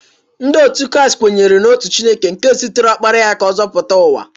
Ndị otu Kraịst kwenyere n'otu Chineke nke zitere Ọkpara ya ka ọ zọpụta ụwa.